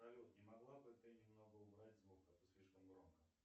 салют не могла бы ты немного убрать звук а то слишком громко